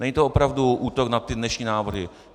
Není to opravdu útok na ty dnešní návrhy.